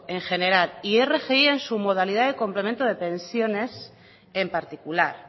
en general y rgi en su modalidad de complemento de pensiones en particular